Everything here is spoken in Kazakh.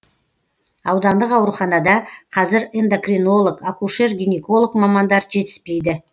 аудандық ауруханада қазір эндокринолог акушер гинеколог мамандар жетіспейді